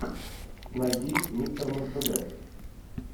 найди мистер мерседес